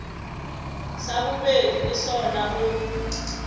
sa bobedi le sona o